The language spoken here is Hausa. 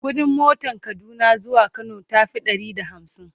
ƙuɗin motan Kaduna zuwa Kano tafi Ɗari da hamsin